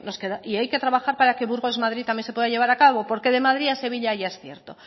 y hay que trabajar para que burgos madrid también se pueda llevar a cabo porque de madrid a sevilla ya es cierto